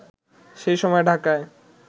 সেই সময় ঢাকায়